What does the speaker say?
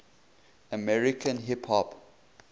american hip hop